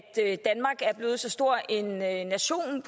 blevet så stor en nation